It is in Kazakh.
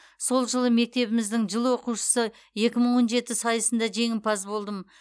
сол жылы мектебіміздің жыл оқушысы екі мың он жеті сайысында жеңімпаз болдым